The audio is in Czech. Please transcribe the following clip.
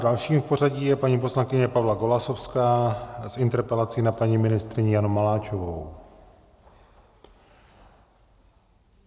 Další v pořadí je paní poslankyně Pavla Golasowská s interpelací a paní ministryni Janu Maláčovou.